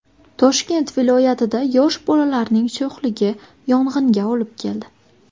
Toshkent viloyatida yosh bolalarning sho‘xligi yong‘inga olib keldi.